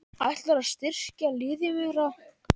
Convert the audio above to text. Ætlarðu að styrkja liðið meira?